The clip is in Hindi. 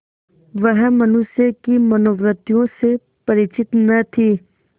वह मनुष्य की मनोवृत्तियों से परिचित न थी